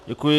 Děkuji.